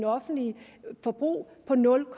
offentlige forbrug på nul